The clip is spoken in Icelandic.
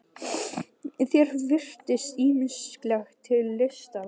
Þér virðist ýmislegt til lista lagt.